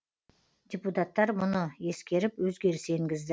депутаттар мұны ескеріп өзгеріс енгізді